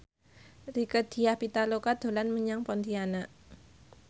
Rieke Diah Pitaloka dolan menyang Pontianak